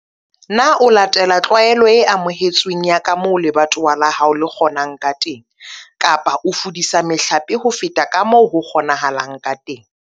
Na o latela tlwaelo e amohetsweng ya ka moo lebatowa la hao le kgonang ka teng kapa o fudisa mehlape ho feta ka moo ho kgonahalang ka teng?